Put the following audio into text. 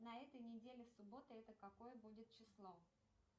на этой неделе суббота это какое будет число